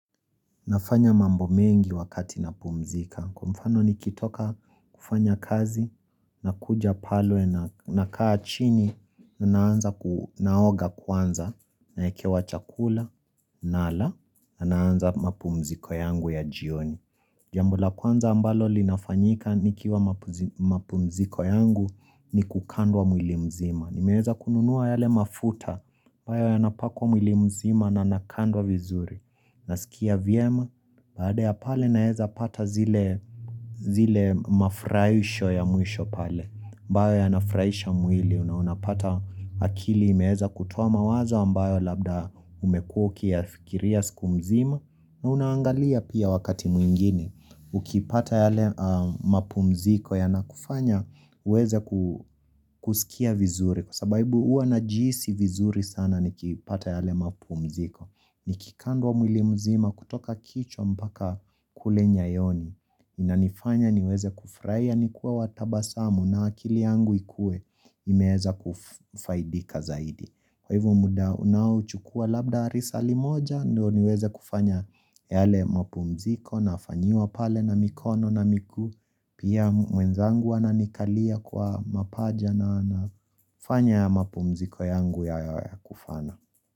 Nafanya mambo mengi wakati napumzika. Kwa mfano nikitoka kufanya kazi, nakuja pale nakaa chini, na naanza naoga kwanza, naekewa chakula, nala, na naanza napumziko yangu ya jioni. Jambo la kwanza ambalo linafanyika nikiwa mapumziko yangu ni kukandwa mwili mzima. Nimeweza kununua yale mafuta, ambayo yanapakwa mwili mzima na nakandwa vizuri. Naskia vyema, baada ya pale naeza pata zile zile mafraisho ya mwisho pale ambayo yanafraisha mwili, na unapata akili imeeza kutoa mawazo ambayo labda umekuwa ukiyafikiria siku mzima na unaangalia pia wakati mwingine, ukipata yale mapumziko yanakufanya uweze kuskia vizuri kwa sababu uwa najihisi vizuri sana nikipata yale mapumziko Nikikandwa mwili mzima kutoka kichwa mpaka kule nyayoni Inanifanya niweze kufurahia ni kuwa watabasamu na akili yangu ikue imeeza kufaidika zaidi Kwa hivo muda unao chukua labda risali moja ndo niweze kufanya yale mapumziko nafanyiwa pale na mikono na miguu Pia mwenzangu ananikalia kwa mapaja na anafanya ya mapumziko yangu ya kufana.